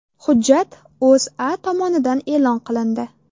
Hujjat O‘zA tomonidan e’lon qilindi .